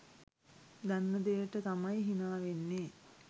දන්න දෙයට තමයි හිනා වෙන්නේ.